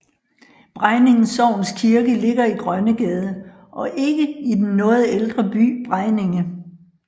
Bregninge sogns kirke ligger i Grønnegade og ikke i den noget ældre by Bregninge